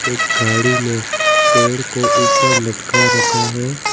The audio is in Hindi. एक गाड़ी ने पेड़ को ऊपर लटका रखा है।